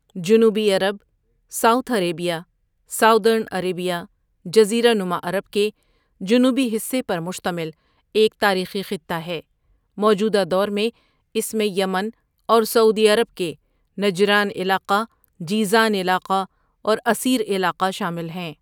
جنوبی عرب south Arabia southern Arabia جزیرہ نما عرب کے جنوبی حصے پر مشتمل ایک تاریخی خطہ ہے موجودہ دور میں اس میں یمن اور سعودی عرب کے نجران علاقہ، جیزان علاقہ اور عسیر علاقہ شامل ہیں.